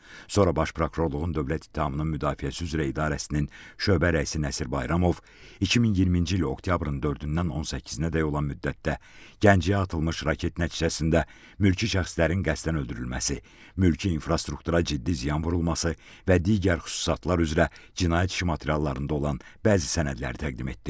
Sonra Baş Prokurorluğun dövlət ittihamının müdafiəsi üzrə idarəsinin şöbə rəisi Nəsir Bayramov 2020-ci il oktyabrın 4-dən 18-dək olan müddətdə Gəncəyə atılmış raket nəticəsində mülki şəxslərin qəsdən öldürülməsi, mülki infrastruktura ciddi ziyan vurulması və digər xüsusatlar üzrə cinayət işi materiallarında olan bəzi sənədlər təqdim etdi.